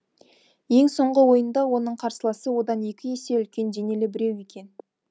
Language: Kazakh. ең соңғы ойында оның қарсыласы одан екі есе үлкен денелі біреу екен